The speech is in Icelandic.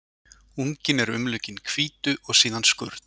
Unginn er umlukinn hvítu og síðan skurn.